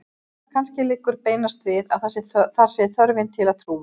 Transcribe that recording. Kannski liggur beinast við að að það sé þörfin til að trúa.